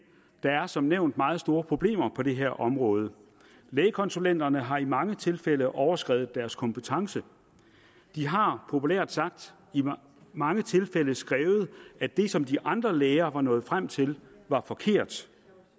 der er som nævnt meget store problemer på det her område lægekonsulenterne har i mange tilfælde overskredet deres kompetence de har populært sagt i mange tilfælde skrevet at det som de andre læger var nået frem til var forkert